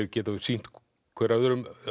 geta sýnt hver öðrum